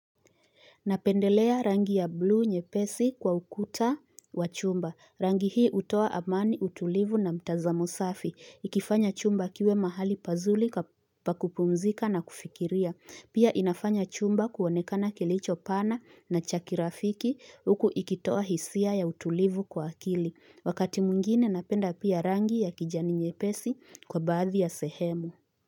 Napendelea rangi ya blue nyepesi kwa ukuta wa chumba. Rangi hii utoa amani, utulivu na mtazamo safi. Ikifanya chumba kiwe mahali pazuri pakupumzika na kufikiria. Pia inafanya chumba kuonekana kilicho pana na cha kirafiki huku ikitoa hisia ya utulivu kwa akili. Wakati mwingine napenda pia rangi ya kijani nyepesi kwa baadhi ya sehemu.